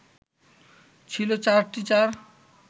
ছিল চারটি চার